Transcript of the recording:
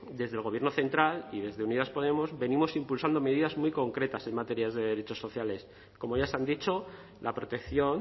desde el gobierno central y desde unidas podemos venimos impulsando medidas muy concretas en materia de derechos sociales como ya se han dicho la protección